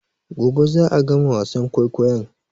Gobe za'a gama wasan kwaikwayon